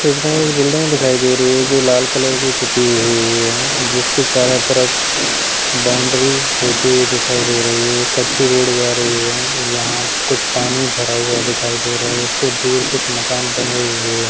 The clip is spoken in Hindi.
इसमें एक बिल्डिंग दिखाई दे रही है जो लाल कलर की पुती हुई है जिसके चारो तरफ बाउंड्री होती हुई दिखाई दे रही है कच्ची रोड जा रही है यहाँ कुछ पानी भरा हुआ दिखाई दे रहा है।